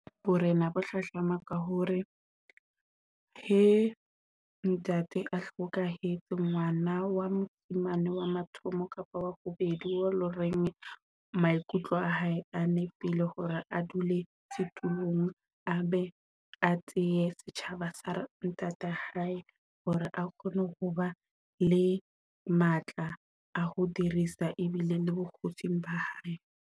Borena bo hlahlama ka hore he ntate a hlokahetse ngwana wa mosimane wa mathomo kapo wa bobedi wao loreng maikutlo a hae a nepile hore a dule setulong, a be a tseye setjhaba sa ntate hae hore a kgone ho ba le matla a ho dirisa ebile le bokgosing ba hae.